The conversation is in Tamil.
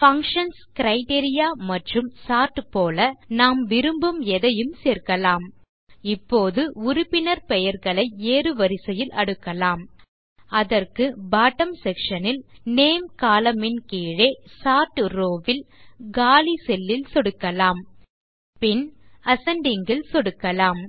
பங்ஷன்ஸ் கிரைட்டீரியா மற்றும் சோர்ட் போல நாம் விரும்பும் எதையும் சேர்க்கலாம் இப்போது உறுப்பினர் பெயர்களை ஏறுவரிசையில் அடுக்கலாம் அதற்கு பாட்டம் செக்ஷன் ல் நேம் கோலம்ன் ன் கீழே சோர்ட் ரோவ் ல் காலி செல் ல் சொடுக்கலாம் பின் அசெண்டிங் ல் சொடுக்கலாம்